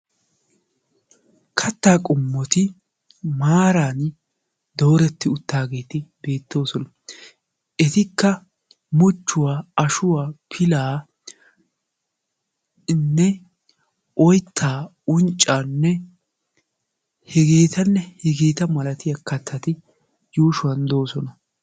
Kattaa qommoti maaran dooretti uttiaageeti beettosona etika muchchuwaa, ashuwaa, pilanne oytaa, unccanne hegetanne hegetaa malatiyaa kattati yuushshuwan doosona.